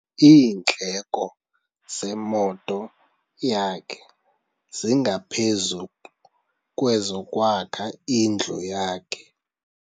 Iindleko zemoto yakhe zingaphezu kwezokwakha indlu yakhe.